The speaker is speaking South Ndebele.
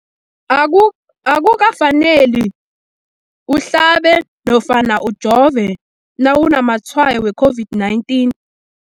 Aku akuka faneli uhlabe nofana ujove nawu namatshayo we-COVID-19.